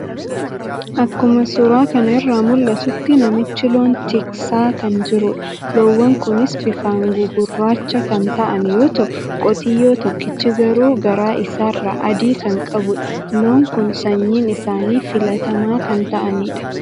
Akkuma suura kana irra mul'atutti namichi loon tiksaa kan jirudha. Loowwan kunis bifaan gugurraacha kan ta'an yoo ta'u qotiyyoo tokkichi garuu garaa isaarra adii kan qabudha. Loon kun sanyiin isaani filatamaa kan ta'anidha.